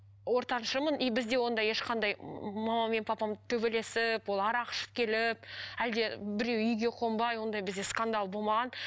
ортаншымын и бізде ондай ешқандай мамам мен папам төбелесіп ол арақ ішіп келіп әлде біреуі үйге қонбай ондай бізде скандал болмаған